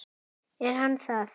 Er hann það?